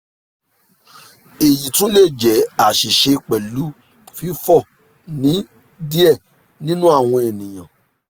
eyi tun le jẹ aṣiṣe pẹlu fifọ ni diẹ ninu awọn eniyan